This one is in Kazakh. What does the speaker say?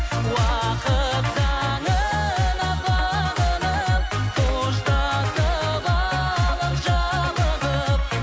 уақыт заңына бағынып қоштасып алып жалығып